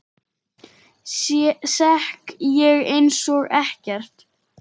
Sekk ég einsog ekkert.